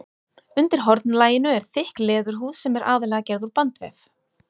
Undir hornlaginu er þykk leðurhúð sem er aðallega gerð úr bandvef.